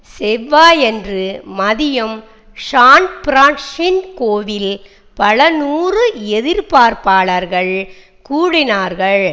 செவ்வாயன்று மதியம் சான்பிரான்ஸிஸ்கோவில் பல நூறு எதிர்ப்பாளர்கள் கூடினார்கள்